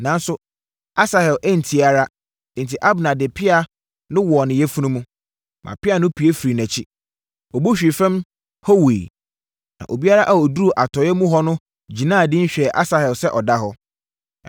Nanso, Asahel antie ara, enti Abner de ne pea no wɔɔ ne yafunu mu, maa pea no pue firii nʼakyi. Ɔbu hwee fam hɔ wuiɛ. Na obiara a ɔduruu atɔeɛ mu hɔ no gyinaa dinn hwɛɛ Asahel sɛ ɔda hɔ.